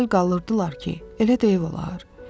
Məəttəl qalırdılar ki, elə də ev olar?